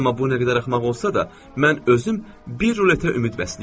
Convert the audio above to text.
Amma bu nə qədər axmaq olsa da, mən özüm bir ruletə ümid bəsləyirəm.